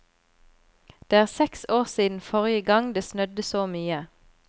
Det er seks år siden forrige gang det snødde så mye.